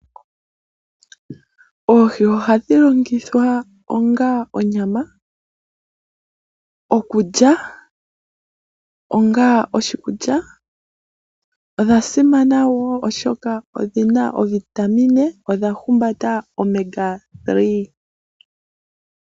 Oohi ohadhi longithwa onga onyama, okulya onga oshikulya, odhasimana woo oshoka pshina ovitamine odhahumbata Oomega 3.